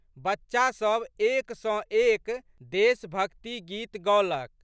बच्चा सब एक सँ एक देशभक्तिक गीत गओलक।